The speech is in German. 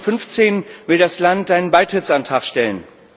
2015 will das Land einen Beitrittsantrag stellen.